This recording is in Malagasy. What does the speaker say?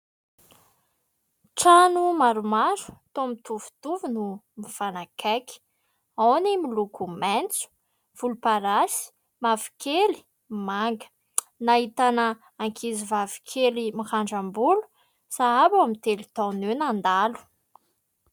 Trano maromaro toa mitovitovy no mifanakaiky. Ao ny miloko maitso, volomparasy, mavokely, manga. Nahitana ankizivavikely mirandram-bolo, sahabo eo amin'ny telo taona eo nandalo.